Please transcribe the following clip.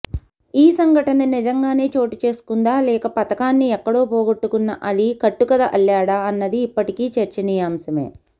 ఈ సంఘటన నిజంగానే చోటు చేసుకుందా లేక పతకాన్ని ఎక్కడో పోగొట్టుకున్న అలీ కట్టుకథ అల్లాడా అన్నది ఇప్పటికీ చర్చనీయాంశమే